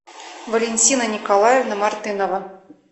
валентина николаевна мартынова